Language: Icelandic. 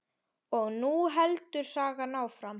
Og nú heldur sagan áfram!